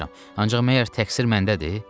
Ancaq məgər təqsir məndədir?